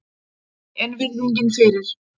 En virðingin fyrir